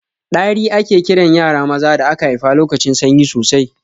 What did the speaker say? Ɗari ake kiran yara maza da aka haifa lokacin sanyi sosai